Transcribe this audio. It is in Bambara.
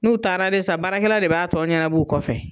N'u taara de sa baarakɛla de b'a tɔ ɲɛnab'u kɔfɛ.